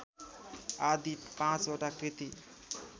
आदि पाँचवटा कृति